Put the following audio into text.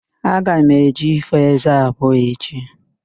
Aga m eje ifo ézé abụọ echi